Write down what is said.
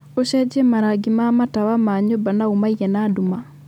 ũcenjie marangi ma matawa ma nyũmba na ũmaige na nduma